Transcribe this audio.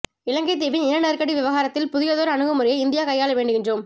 இலங்கைத் தீவின் இன நெருக்கடி விவகாரத்தில் புதியதோர் அணுகு முறையை இந்தியா கையாள வேண்டுகின்றோம்